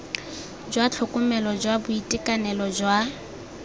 jwa tlhokomelo jwa boitekanelo jwa